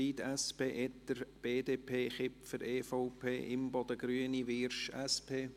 Zryd, SP, Etter, BDP, Kipfer, EVP, Imboden, Grüne, Wyrsch, SP?